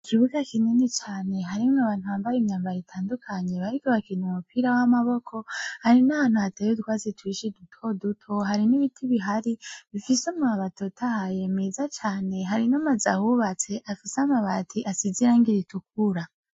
Ikibuga kinini cane harimwo abantu bambaye imyambaro itandukanye, bariko barakina umupira w'amaboko , hari nahantu hateye utwatsi twinshi duto duto , hari nibiti bihari bifise amababi atotahaye meza cane, hari nanazu ahubatse asize irangi ritukura.